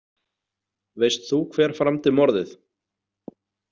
Veist þú hver framdi morðið?